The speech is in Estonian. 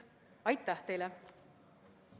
Aitäh teile!